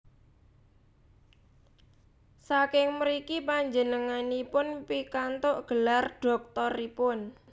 Saking mriki panjenenganipun pikantuk gelar dhoktoripun